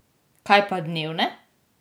Kaj pa dnevne?